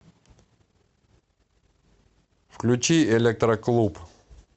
включи электроклуб